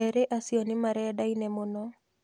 Erĩ acio nĩmarendaine mũno